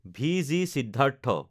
ভিজি সিদ্ধাৰ্থ